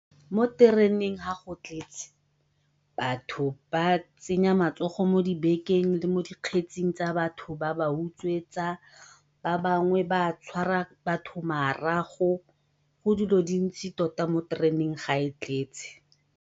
Mo tereneng ga go tletse batho ba tsenya matsogo mo dibekeng le mo dikgetsing tsa batho ba ba utswetsa, ba bangwe ba tshwara batho marago, go dilo dintsi tota mo tereneng ga e tletse.